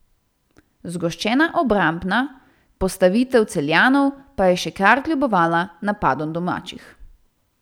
Zgoščena obrambna postavitev Celjanov pa je še kar kljubovala napadom domačih.